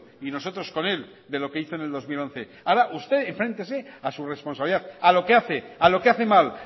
y nosotros con él de lo que hizo en el dos mil once ahora usted enfréntese a su responsabilidad a lo que hace a lo que hace mal